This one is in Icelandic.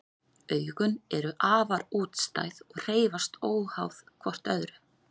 Augun eru afar útstæð og hreyfast óháð hvort öðru.